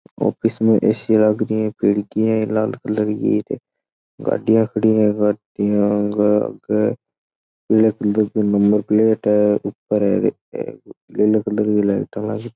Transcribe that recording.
ऑफिस में ए_सी लागरिये खिड़की है लाल कलर की नंबर प्लेट है ऊपर येलो कलर की लाइट लागरी है।